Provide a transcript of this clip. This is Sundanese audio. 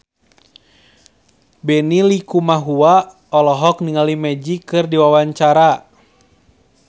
Benny Likumahua olohok ningali Magic keur diwawancara